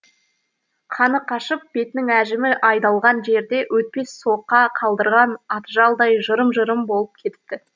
қаны қашып бетінің әжімі айдалған жерде өтпес соқа қалдырған атжалдай жырым жырым болып кетіпті